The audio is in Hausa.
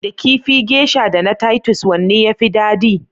Da kifi Geisha da na Titus, wanne ya fi dadi?